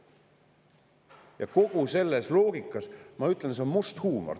Ja kogu selles loogikas ma ütlen, et see on must huumor.